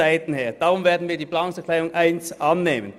Nehmen wir deshalb die Planungserklärung 1 an.